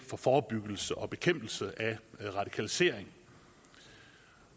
forebyggelse og bekæmpelse af radikalisering